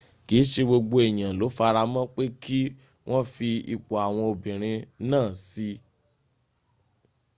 kìí ṣe gbogbo èyàn ló faramọ́ pé kí wọ́n fi ipò àwọn obìrin náà síi